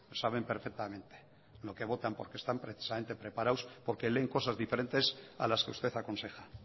saben perfectamente lo que botan porque están precisamente preparados porque leen cosas diferente a las que usted aconseja